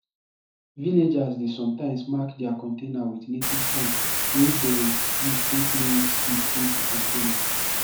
villagers dey sometimes mark their container with native sign wey dem use take know which seed dey di container